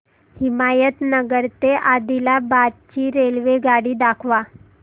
हिमायतनगर ते आदिलाबाद ची रेल्वेगाडी दाखवा